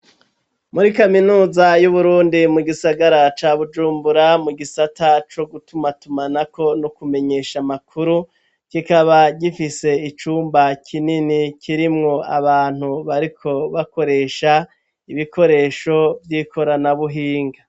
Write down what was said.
Muri kaminuza y'Uburundi mu gisagara ca Bujumbura mu gisata co gutumatumanako no kumenyesha amakuru, kikaba gifise icumba kinini kirimwo abantu bariko bakoresha ibikoresho vy'ikoranabuhinga.